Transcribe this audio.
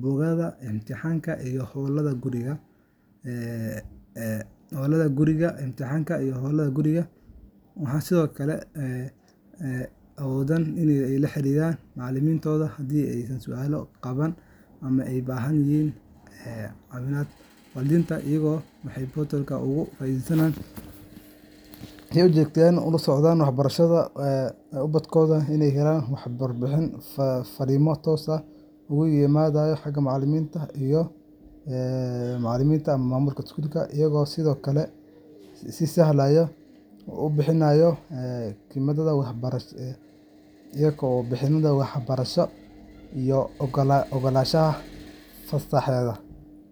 buugaagta, imtixaanada, iyo hawlaha guriga , Waxay sidoo kale awoodaan inay la xiriiraan macallimiintooda haddii ay su’aalo qabaan ama u baahan yihiin caawimaad. Waalidiinta iyaguna waxay portal-ka uga faa’iidaystaan in ay si joogto ah ula socdaan waxbarashada ubadkooda, ay helaan warbixino, fariimo toos ah oo uga yimaada macallimiinta ama maamulka iskuulka, iyo sidoo kale inay si sahlan u bixiyaan khidmadaha waxbarasho iyo oggolaanshaha fasaxyada. Sidaas darteed, school portal-ka wuxuu abuuraa is-dhexgal toos ah, degdeg ah, oo hufan oo kor u qaada tayada waxbarashada iyo wada shaqeynta saddexda dhinac ee muhiimka ah: macallin, arday, iyo waalid.